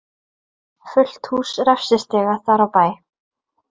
Fullt hús refsistiga þar á bæ.